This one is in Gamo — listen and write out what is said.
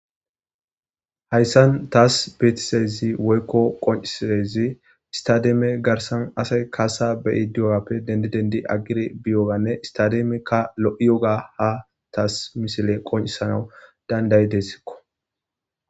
Hayssan taas beetisezi woykko qoncisezi istademe garsan asay kaasa beyi diyogappe dendi dendi aggire biyoganne istademekka lo7iyoga ha taas misile qoncisanawu dandayi dessikko.